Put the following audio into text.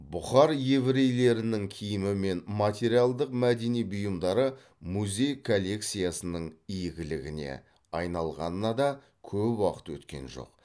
бұхар еврейлерінің киімі мен материалдық мәдени бұйымдары музей коллекциясының игілігіне айналғанына да көп уақыт өткен жоқ